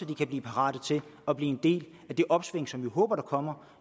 de kan blive parate til at blive en del af det opsving som vi håber kommer